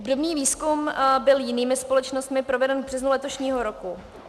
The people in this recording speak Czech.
Obdobný výzkum byl jinými společnostmi proveden v březnu letošního roku.